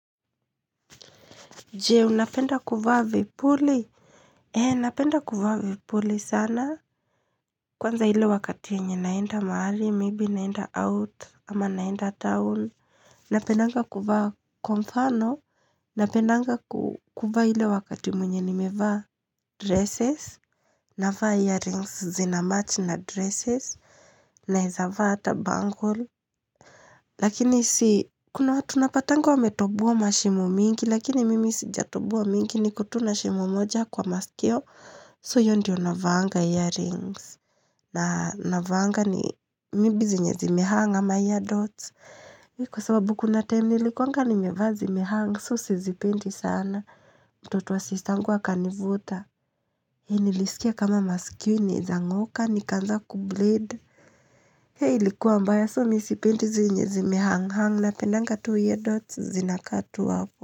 Je, unapenda kufaa vipuli? He, napenda kuvaa vipuli sana. Kwanza ile wakati yenye naenda mahali, maybe naenda out, ama naenda town. Napendanga kuvaa kwa mfano. Napendanga kuvaa ile wakati mwenye nimevaa dresses. Navaa earrings zina match na dresses. Naeza vaa ata bangal. Lakini si, kuna watu napatanga wametoboa mashimo mingi, Lakini mimi sijatoboa mingi ni kotu na shimo moja kwa maskio. So hiyo ndiyo navaanga earrings. Na navaanga ni maybe zenye zimehang ama ear dots. Kwa sababu kuna time nilikuanga ni mevaa zimehang. So si zipendi sana. Mtoto wa sistangu a kanivuta. Hei nilisikia kama maskio inaezang'oka ni kaanza kubleed. Hei likuwa mbaya so misipendi zenye zimehang hang. Na pendanga tu ear dots zinakaa tu hapo.